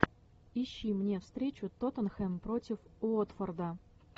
ищи мне встречу тоттенхэм против уотфорда